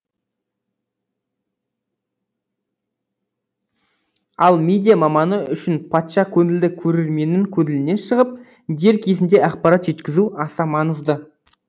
ал медиа маманы үшін патша көңілді көрерменнің көңілінен шығып дер кезінде ақпарат жеткізу аса маңызды